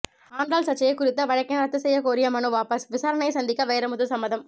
ஆண்டாள் சர்ச்சை குறித்த வழக்கினை ரத்து செய்யக் கோரிய மனு வாபஸ் விசாரணையை சந்திக்க வைரமுத்து சம்மதம்